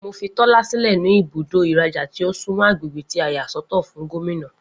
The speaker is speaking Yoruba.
Mo fí Tólá sílẹ̀ ní ibùdó ìrajà tí o sunmọ agbègbè tí a yà sọ́tọ̀ fún Gómìnà